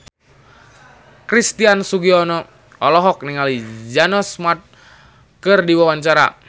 Christian Sugiono olohok ningali Jason Mraz keur diwawancara